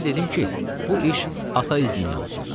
Mən dedim ki, bu iş ata izniylə olsun.